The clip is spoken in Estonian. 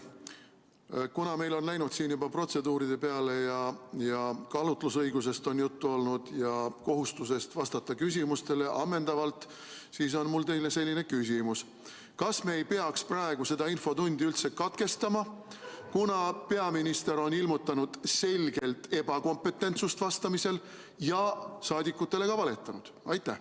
Kuna meil on tähelepanu läinud siin juba protseduuride peale ning juttu on olnud kaalutlusõigusest ja kohustusest vastata küsimustele ammendavalt, siis on mul teile selline küsimus: kas me ei peaks praegu seda infotundi katkestama, kuna peaminister on ilmutanud selgelt ebakompetentsust vastamisel ja saadikutele valetanud?